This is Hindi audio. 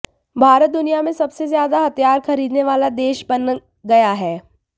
भारत दुनिया में सबसे ज़्यादा हथियार ख़रीदने वाला देश बन गया है